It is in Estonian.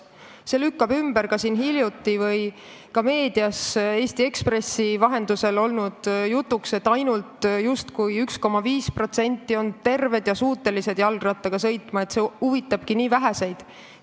See lükkab ümber siin hiljuti olnud või ka meedias Eesti Ekspressi vahendatud jutu, justkui ainult 1,5% inimestest on terved ja suutelised jalgrattaga sõitma, et see huvitab nii väheseid.